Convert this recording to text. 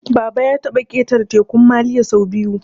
Baba ya taɓa ƙetara Tekun Maliya sau biyu